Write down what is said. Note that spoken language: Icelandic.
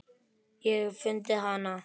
Ég hef fundið hana!